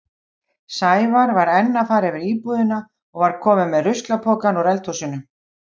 Sævar var enn að fara yfir íbúðina og var kominn með ruslapokann úr eldhúsinu.